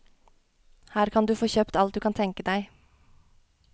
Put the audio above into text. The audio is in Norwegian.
Her kan du få kjøpt alt du kan tenke deg.